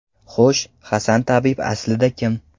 Xo‘sh, Hasan tabib aslida kim?